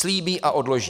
Slíbí a odloží.